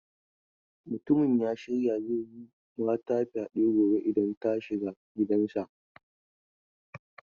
Mutumin ya shirya zai yi mata fyade gobe idan ta shiga gidansa.